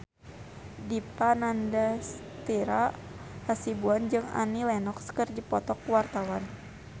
Dipa Nandastyra Hasibuan jeung Annie Lenox keur dipoto ku wartawan